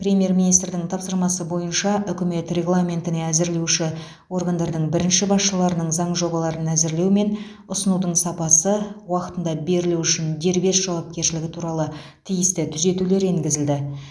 премьер министрдің тапсырмасы бойынша үкімет регламентіне әзірлеуші органдардың бірінші басшыларының заң жобаларын әзірлеу мен ұсынудың сапасы уақытында берілуі үшін дербес жауапкершілігі туралы тиісті түзетулер енгізілді